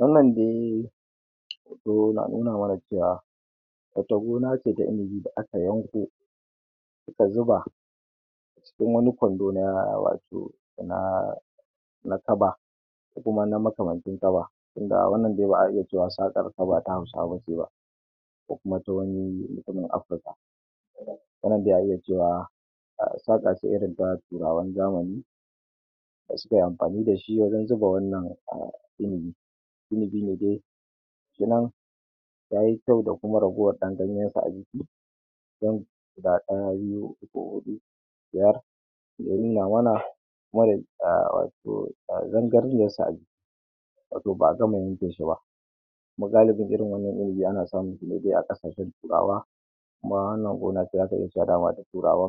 Wannan dai hoto yana nuna mana cewa wata gona ce ta inibi da aka yanko aka zuba a cikin wani kwando na wato na kaba ko kuma na makamancin kaba, tunda dai wannan dai za'a iya cewa sakar sa ba ta hausawa bane, ko kuma ta wani mutumin Africa, wannann dai za'a iya cewa saka ce irin ta turawan zamani suke amfani dashi wajen zuba wannan inibi, da inibi ne dai gashi nan yayi kyau da kuma ragowar dan ganyen sa a jiki, dan ga daya,, biyu, uku, hudu, biyar da ya nuna mana wato zangarniyar sa a jiki, wato ba'a gama yanke shi ba, kuma galibin irin wannan inibin ana samun sa ne a kasashen turawa kuma wannan gona ce dama zaka iya cewata turawa,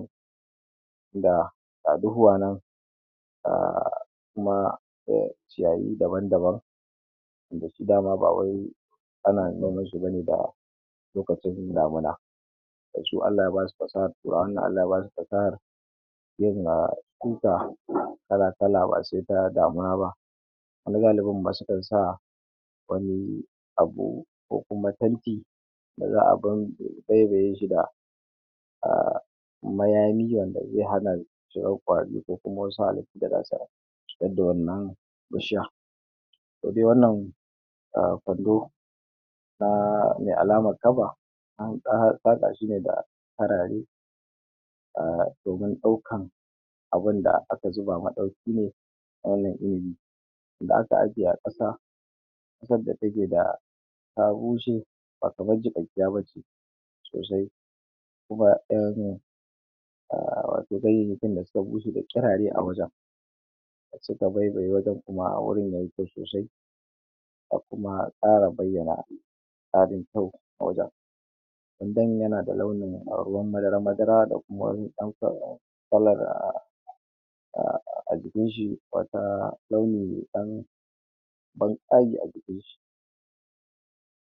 ga duhuwa nan a kuma ciyayi daban daban, wanda shi dama ba wai ana noman shi bane da lokacin damuna, su Allah ya basu fasahar turawan nan Allah Ya basu fasahar yin shuka kala kala ba sai ta damuna ba, wani galibin ma sukan sa wani abu ko kuma tanki da abinda za'a baibaye shi da mayami wanda zai hana shi daukan kwari ko kuma wasu halittu da zasu cutar da wannan bishiya, ita dai wannan kwando na me alamar kaba an saka shine da karare domin daukan abinda aka zuba madauki ne na inibi da aka ajje a kasa, kasar da take ta bushe ba kamar jigaqqiya bace sosai kuma 'ya'yan wato ganyayyakin da suka bushe da kirare a wajen, suka baibaye wajen kuma wurin yayi kyau sosai, da kuma kara bayyana tsarin kyau a wajen wajen yana da launi ruwan madara madara da kuma kalar, a jikin shi, wata launi me dan tsagi a jikin shi,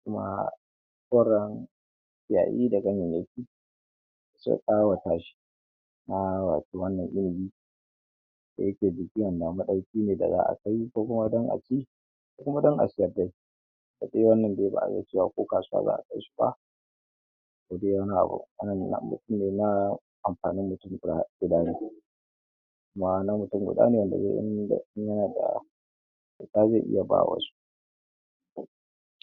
kuma koren ciyayi da ganyayyaki sun kawata shi, kuma wato wannan inibi da yake bishiyar madauki ne da za'a kai ko dan aci ko kuma dan a siyar dai, ita dai wannan za'a iya cewa ko kasuwa za'a kai shi ba sai dai wani abu, wannan abinci ne na amfanin mutum guda kuma na mutum guda ne wanda zai iya bawa wasu.